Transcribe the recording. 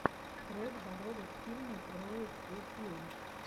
трек дорога к фильму роад ту филм